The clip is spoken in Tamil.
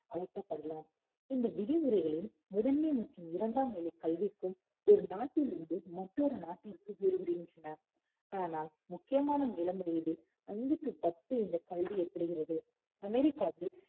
அழைக்கப்படலாம் இந்த விதிமுறைகளின் முதன்மை மற்றும் இரண்டாம் நிலை கல்விக்கும் ஒரு நாட்டிலிருந்து மற்றொரு நாட்டிற்கு வேறுபடுகின்றன. ஆனால் முக்கியமான இளம் வயதில் அஞ்சுக்கு பத்து என்ற இந்த கல்வி ஏற்படுகிறது. அமெரிக்காவில்,